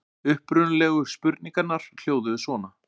Upprunalegu spurningarnar hljóðuðu svona: